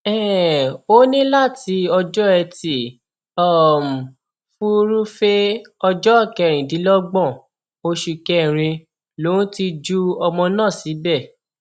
um ó ní láti ọjọ etí um furuufee ọjọ kẹrìndínlọgbọn oṣù kẹrin lòún ti ju ọmọ náà síbẹ